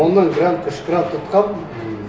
мон нан грант үш грант ұтқанмын ммм